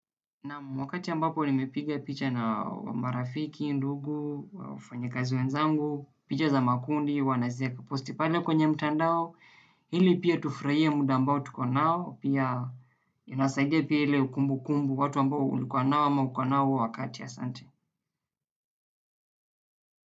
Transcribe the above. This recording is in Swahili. Naam wakati ambapo nimepiga picha na marafiki, ndugu, au wafanyikazi wenzangu, picha za makundi, huwa nazieka posti pale kwenye mtandao, ili pia tufurahie muda ambao tuko nao, pia tunasaidia pia ile ukumbukumbu watu ambao ulikuwa nao ama uko nao wakati asante.